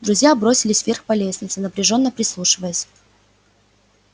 друзья бросились вверх по лестнице напряжённо прислушиваясь